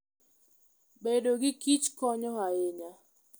Bedo gi kich konyo ahinya.